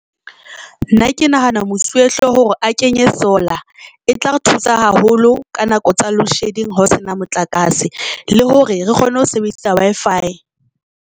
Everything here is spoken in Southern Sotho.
Nna ke nahana mosuwehlooho hore a kenye solar e tla re thusa haholo ka nako tsa loadshedding ho sena motlakase, le hore re kgone ho sebedisa Wi-Fi.